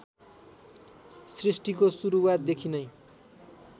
सृष्टिको सुरुवातदेखि नै